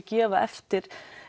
gefa eftir